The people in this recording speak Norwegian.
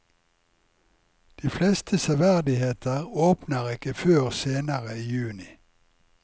De fleste severdigheter åpner ikke før senere i juni.